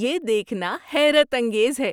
یہ دیکھنا حیرت انگیز ہے